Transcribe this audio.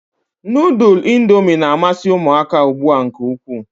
Nudul indomi na-amasi umuaka ugbua nke ukwu.